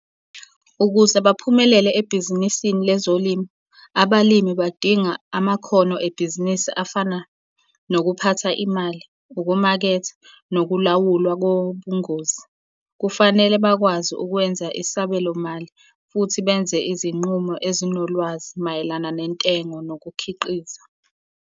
Ukuze baphumelele ebhizinisini lezolimo, abalimi badinga amakhono ebhizinisi afana nokuphatha imali, ukumaketha, nokulawulwa kobungozi. Kufanele bakwazi ukwenza isabelomali futhi benze izinqumo ezinolwazi mayelana nentengo nokukhiqiza.